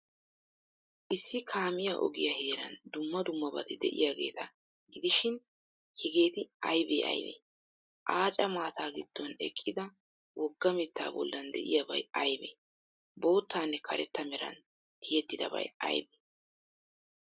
Issi kaamiyaa ogiyaa heeran dumma dummabati de'iyaageeta gidishin, hegeeti aybee aybee? Aaca maataa giddon eqqida wogga mittaa bollan de'iyaabay aybee? Boottanne karetta meran tiyettidabay aybee?